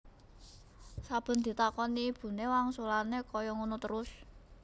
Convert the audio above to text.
Saben ditakoni ibune wangsulane kayak ngono trus